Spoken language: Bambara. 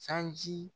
Sanji